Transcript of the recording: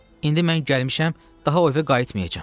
İndi mən gəlmişəm, daha o evə qayıtmayacam.